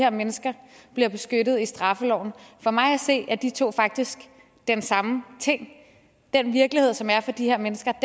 her mennesker bliver beskyttet i straffeloven for mig at se er de to faktisk den samme ting den virkelighed som er for de her mennesker